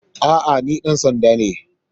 A'a, ni dan sanda ne.